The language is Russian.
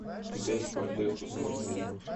у тебя есть квартира сто сорок три